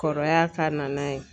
Kɔrɔya ka na n'a ye.